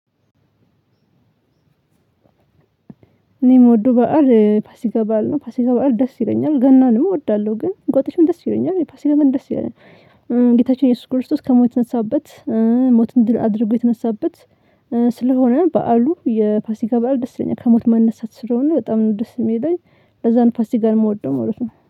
እኔ የምወደው በዓል ፋሲካ በዓል ነው ፋሲካ በዓል ደስ ይለኛል ገናንም እወዳለሁ ግን እንቁጣጣሽም ደስ ይለኛል የፋሲካ ግን ደስ ይለኛል። ጌታችን ኢየሱስ ክርስቶስ ከሞት የተነሳበት ሞትን ድል አድርጎ የተነሳበት። ስለሆነ በዓሉ የፋሲካ በዓል ደስ ይለኛል ከሞት መነሳት ስለሆነ በጣም ነው ደስ የሚለኝ። ለዛን ፋሲካ ጋር የምወደው ማለት ነው